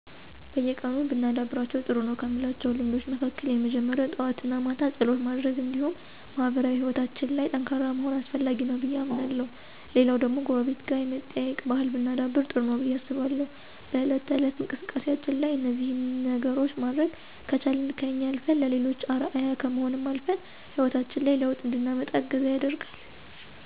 በየቀኑ ብናደርጋቸው ጥሩ ነው ከምላቸው ልምዶች መካከል የመጀመሪያው ጠዋት እና ማታ ፀሎት ማድረግ እንዲሁም ማህበራዊ ሕይወታችን ላይ ጠንካራ መሆን አስፈላጊ ነገር ነው ብዬ አምናለሁ። ሌላው ደግሞ ጎረቤት ጋር የመጠያየቅ ባህል ብናዳብር ጥሩ ነው ብዬ አስባለሁ። በእለት ተእለት እንቅስቃሴያችን ላይ እነዚህን ነገሮች ማድረግ ከቻልን ከኛ አልፈን ለሌሎችም አርአያ ከመሆንም አልፈን ሕይወታችን ላይ ለውጥ እንድናመጣ እገዛ ያደርጋል።